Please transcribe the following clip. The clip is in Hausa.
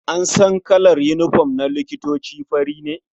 An san kalar unifom na likitoci fari ne.